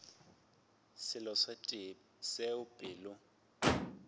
selo se tee seo pelo